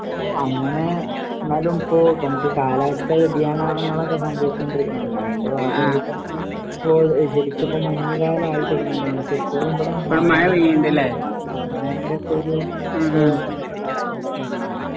ഓഹ് അങ്ങനെ എന്നാലും ഇപ്പോ നമുക്ക് കാലാവസ്ഥ വ്യതിയാനങ്ങളൊക്കെ സംഭവിച്ചുകൊണ്ടിരിക്കുന്നതല്ലോ അതിന്റെ ഭാഗമായിട്ട് തന്നെ ഇപ്പോ ശരിക്ക് ഇപ്പോ മഞ്ഞ് കാലം ആയി തുടങ്ങേണ്ടത് ആണ് പക്ഷേ ഇപ്പോ ഇവിടെ മഴ ന്റെ ഒക്കെ ഒരു കാലാവസ്ഥയാണ് ഇവിടെ .